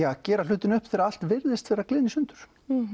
að gera hlutina upp þegar allt virðist vera að gliðna í sundur